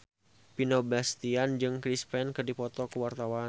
Vino Bastian jeung Chris Pane keur dipoto ku wartawan